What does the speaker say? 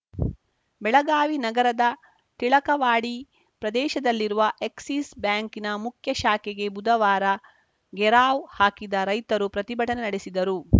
ಬೆಳಗಾವಿ ನಗರದ ಟಿಳಕವಾಡಿ ಪ್ರದೇಶದಲ್ಲಿರುವ ಎಕ್ಸಿಸ್‌ ಬ್ಯಾಂಕ್‌ನ ಮುಖ್ಯಶಾಖೆಗೆ ಬುಧವಾರ ಘೇರಾವ್‌ ಹಾಕಿದ ರೈತರು ಪ್ರತಿಭಟನೆ ನಡೆಸಿದರು